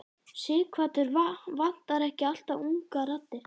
Sighvatur: Vantar ekki alltaf ungar raddir?